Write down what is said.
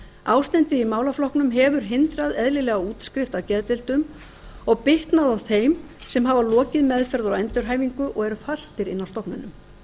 ástandið í málaflokknum hefur hindrað eðlilega útskrifa á geðdeildum og bitnað á þeim sem hafa lokið meðferð og endurhæfingu og eru fastir inni á stofnunum